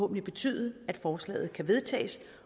vil betyde at forslaget kan vedtages